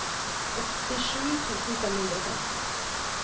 åttisju tusen fem hundre og femten